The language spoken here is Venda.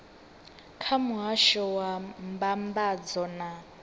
kha muhasho wa mbambadzo na